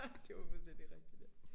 Det var fuldstændig rigtigt ja